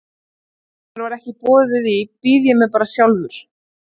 Í afmæli sem mér er ekki boðið í býð ég mér bara sjálfur.